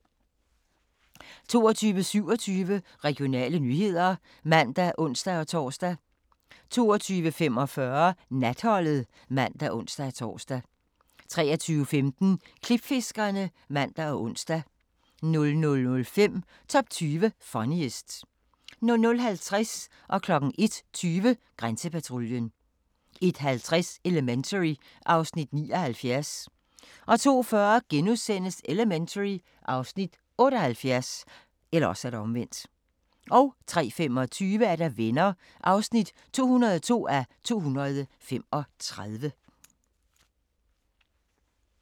22:27: Regionale nyheder (man og ons-tor) 22:45: Natholdet (man og ons-tor) 23:15: Klipfiskerne (man og ons) 00:05: Top 20 Funniest 00:50: Grænsepatruljen 01:20: Grænsepatruljen 01:50: Elementary (Afs. 79) 02:40: Elementary (Afs. 78)* 03:25: Venner (202:235)